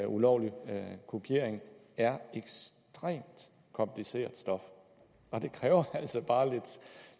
ulovlig kopiering er ekstremt kompliceret stof og det kræver altså bare